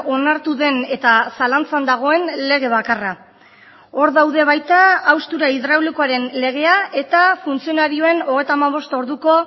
onartu den eta zalantzan dagoen lege bakarra hor daude baita haustura hidraulikoaren legea eta funtzionarioen hogeita hamabost orduko